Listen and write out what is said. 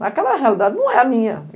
Mas aquela realidade não é a minha.